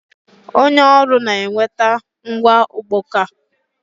Onye ọrụ na-eweta ngwa ọkpọka.